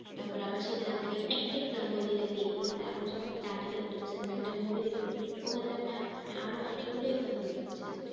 তারপরে আবার সেখানে আপনাকে একটা example দিয়ে দেখাই দিলো কিন্তু আপনি যখন একটা article পড়তেছেন বা একটা movie দেখতেছেন ওখান থেকে আপনি আরো অনেক example পাচ্ছেন।